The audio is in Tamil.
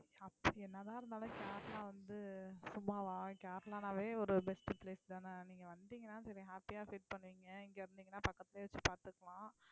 என்னதான் இருந்தாலும் கேரளா வந்து சும்மாவா கேரளான்னாவே ஒரு best place தானே நீங்க வந்தீங்கன்னா சரி happy ஆ feel பண்ணுவீங்க, இங்க வந்திங்கனா பக்கத்துலயே வெச்சு பாத்துக்கலாம்